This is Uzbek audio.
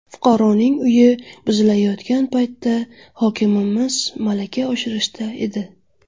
Fuqaroning uyi buzilayotgan paytda hokimimiz malaka oshirishda edi.